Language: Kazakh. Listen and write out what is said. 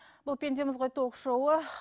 бұл пендеміз ғой ток шоуы